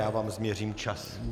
Já vám změřím čas.